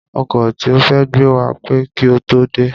Ọkọ̀ tí ó fẹ́ gbé wa pẹ́ kí ó tó dé